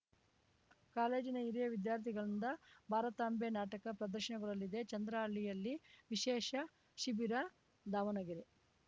ಕಾಲೇಜಿನ ಹಿರಿಯ ವಿದ್ಯಾರ್ಥಿಗಳಿಂದ ಭಾರತಾಂಭೆ ನಾಟಕ ಪ್ರದರ್ಶನಗೊಳ್ಳಲಿದೆ ಚಂದ್ರಹಳ್ಳಿಯಲ್ಲಿ ವಿಶೇಷ ಶಿಬಿರ ದಾವಣಗೆರೆ